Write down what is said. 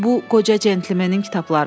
Bu qoca centlmenin kitablarıdır.